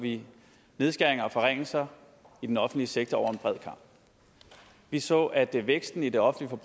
vi nedskæringer og forringelser i den offentlige sektor over en bred kam vi så at væksten i det offentlige